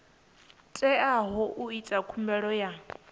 teaho u ita khumbelo ya